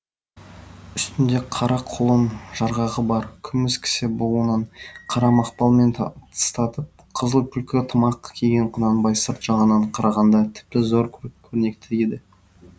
үстінде қара құлын жарғағы бар күміс кісе буынған қара мақпалмен тыстатып қызыл түлкі тымақ киген құнанбай сырт жағынан қарағанда тіпті зор көрнекті еді